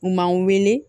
U man wuli